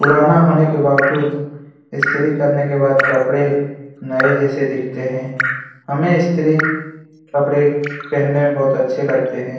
पुराना होने के बावजूद ईस्त्री करने के बाद कपड़े नए जैसे दिखते हैं हमें ईस्त्री कपड़े पहने में बहुत अच्छे लगते हैं।